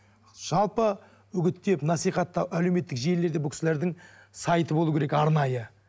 жалпы үгіттеп насихаттап әлеуметтік желілерде бұл кісілердің сайты болуы керек арнайы